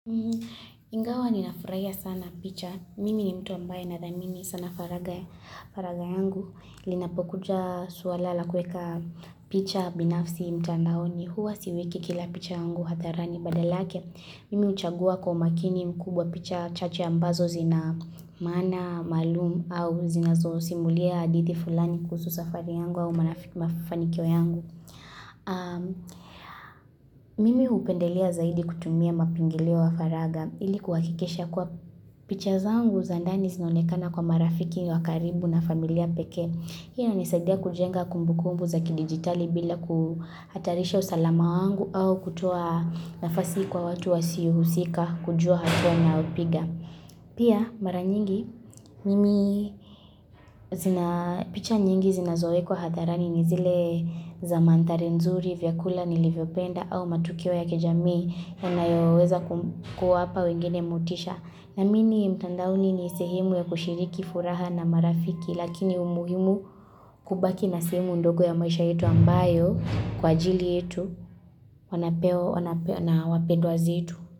Ingawa ni nafurahia sana picha. Mimi ni mtu ambaye nadhamini sana faragha ya faragha yangu. Linapokuja swala la kueka picha binafsi mtandaoni. Huwa siweki kila picha yangu hadharani badala yake. Mimi huchagua kwa umakini mkubwa picha chache ambazo zina maana, maalumu au zina zo simulia hadithi fulani kuhusu safari yangu au mafanikio yangu. Mimi hupendelea zaidi kutumia mapingilio ya faragha. Iliku ha kikisha kwa picha zangu zandani zinaonekana kwa marafiki wakaribu na familia peke. Hii ina nisadia kujenga kumbu kumbu za kidigitali bila kuhatarisha usalama wangu au kutoa nafasi kwa watu wasiohusika kujua hatua ninayopiga. Pia mara nyingi, mimi zina picha nyingi zina zo wekwa hatharani ni zile zamadthari nzuri vyakula nilivyopenda au matukio ya kijamii inayoweza ku kuwapa wengine motisha. Naamini mtandaoni ni sehemu ya kushiriki furaha na marafiki, lakini umuhimu kubaki na sehilemu ndogo ya maisha yetu ambayo kwa ajili yetu, wanapeo na wapendwa zetu.